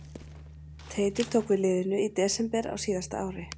Teitur tók við liðinu í desember á síðasta ári.